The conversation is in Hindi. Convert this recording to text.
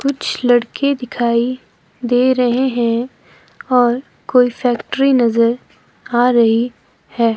कुछ लड़के दिखाई दे रहे हैं और कोई फैक्ट्री नजर आ रही है।